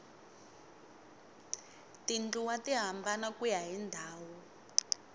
tindluwa ti hambana kuya hi ndhawu